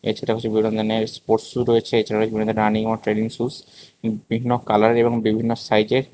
সেটা আছে বিভিন্ন রঙের স্পোর্টস সুজ রয়েছে এছাড়াও রয়েছে বিভিন্ন রানিং অর ট্রেনিং সুজ বিভিন্ন কালার এবং বিভিন্ন সাইজের--